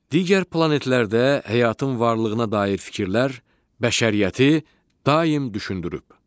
Digər planetlərdə həyatın varlığına dair fikirlər bəşəriyyəti daim düşündürüb.